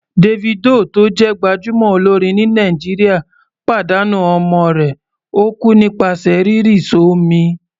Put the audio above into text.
Davido tó jẹ́ gbájúmọ́ olórin ní Nàìjíríà pàdánù ọmọ rẹ̀, ó kú nípasẹ̀ rírì s'ọ́mi.